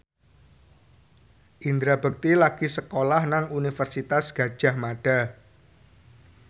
Indra Bekti lagi sekolah nang Universitas Gadjah Mada